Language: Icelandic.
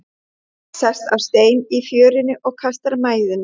Sest á stein í fjörunni og kastar mæðinni.